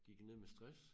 Gik jeg ned med stress